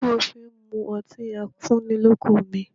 Kí ló dé tí ó fí n mú ọtí afúnnilọ́kun mi?